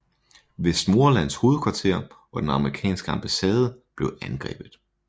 Westmorelands hovedkvarter og den amerikanske ambassade blev angrebet